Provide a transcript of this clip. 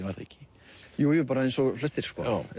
var það ekki jú jú bara eins og flestir